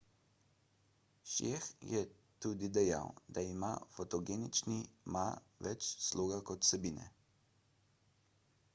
hsieh je tudi dejal da ima fotogenični ma več sloga kot vsebine